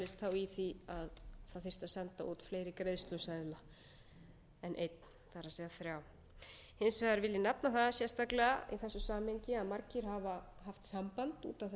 í því að það þyrfti að senda út fleiri greiðsluseðla en einn það er þrjá hins vegar vil ég nefna það í þessu samhengi að margir hafa haft samband út af þessu máli með